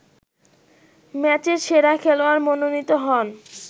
ম্যাচের সেরা খেলোয়াড় মনোনীত হন